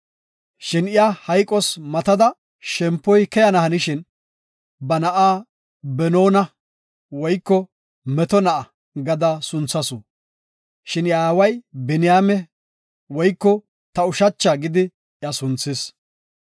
Shin iya hayqos matada shempoy keyana hanishin, ba na7a Benoona (Meto na7a) gada sunthasu. Shin iya aaway Biniyaame (Ta ushacha) gidi sunthis.